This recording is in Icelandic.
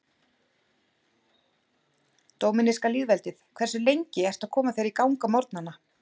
Dóminíska lýðveldið Hversu lengi ertu að koma þér í gang á morgnanna?